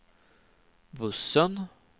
bussen